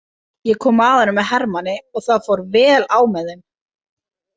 Ég kom að honum með hermanni og það fór vel á með þeim.